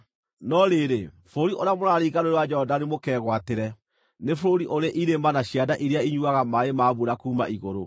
No rĩrĩ, bũrũri ũrĩa mũraringa Rũũĩ rwa Jorodani mũkegwatĩre nĩ bũrũri ũrĩ irĩma na cianda iria inyuuaga maaĩ ma mbura kuuma igũrũ.